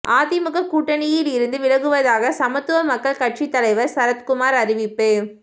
அதிமுக கூட்டணியிலிருந்து விலகுவதாக சமத்துவ மக்கள் கட்சித் தலைவர் சரத்குமார் அறிவிப்பு